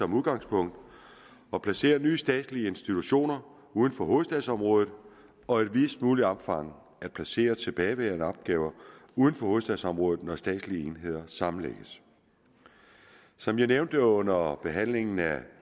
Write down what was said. som udgangspunkt at placere nye statslige institutioner uden for hovedstadsområdet og i videst muligt omfang at placere tilbageværende opgaver uden for hovedstadsområdet når statslige enheder sammenlægges som jeg nævnte under behandlingen af